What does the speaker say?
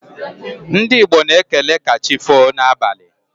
Ndị Igbo na-ekele 'kachifo' n'abalị